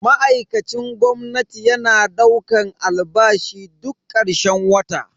Ma'aikacin gwamnati yana daukan albashi duk karshen wata.